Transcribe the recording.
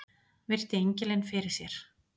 Virti engilinn fyrir sér.